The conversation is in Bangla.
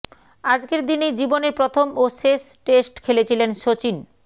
আজকের দিনেই জীবনের প্রথম ও শেষ টেস্ট খেলেছিলেন শচীন